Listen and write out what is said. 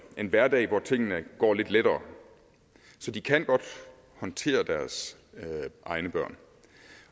en hverdag hvor tingene går lidt lettere så de kan godt håndtere deres egne børn